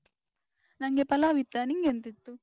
ನಂಗೆ ಪಲಾವ್ ಇತ್ತ. ನಿಂಗ್ ಎಂತಿತ್ತು?